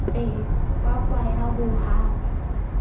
be kwakwa ya ho hapa